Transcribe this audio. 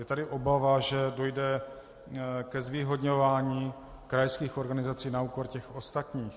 Je tady obava, že dojde k zvýhodňování krajských organizací na úkor těch ostatních.